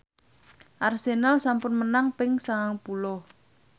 Arsenal sampun menang ping sangang puluh